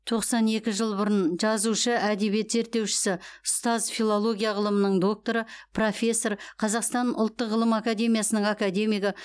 тоқсан екі жыл бұрын жазушы әдебиет зерттеушісі ұстаз филология ғылымының докторы профессор қазақстан ұлттық ғылым академиясының академигі